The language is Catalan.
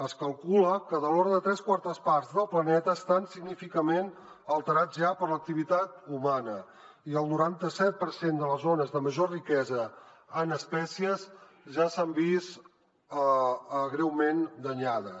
es calcula que de l’ordre de tres quartes parts del planeta estan significativament alterades ja per l’activitat humana i el noranta set per cent de les zones de major riquesa en espècies ja s’han vist greument danyades